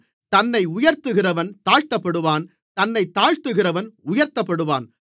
தன்னை உயர்த்துகிறவன் தாழ்த்தப்படுவான் தன்னைத் தாழ்த்துகிறவன் உயர்த்தப்படுவான்